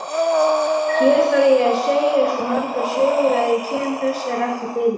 Hér þarf ég að segja svo margar sögur að ég kem þessari ekki fyrir.